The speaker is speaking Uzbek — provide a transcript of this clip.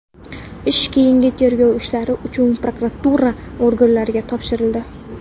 Ish keyingi tergov ishlari uchun prokuratura organlariga topshirildi.